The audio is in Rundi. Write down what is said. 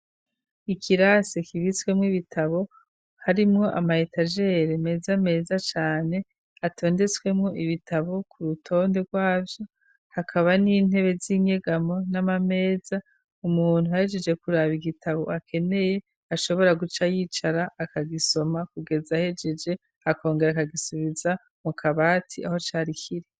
ikirasi kibitsemwo ibitabo harimwo amayetajere meza meza cane atondetswemo ibitabo ku rutonde rwavyo, hakaba n'intebe z'inyegamo n'amameza, umuntu ahejeje kuraba igitabo akeneye ashobora guca yicara akagisoma kugeza ahejeje akongera akagisubiza mu kabati aho cari kiri.